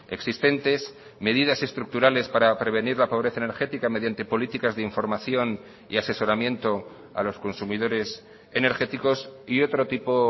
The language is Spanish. existentes medidas estructurales para prevenir la pobreza energética mediante políticas de información y asesoramiento a los consumidores energéticos y otro tipo